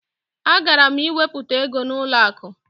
Agara m iwepụta ego n'ụlọakụ